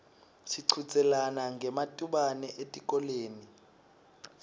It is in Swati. sichudzelana ngematubane etikolweni